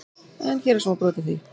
En hér er smá brot af því.